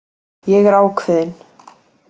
Ég er ákveðin.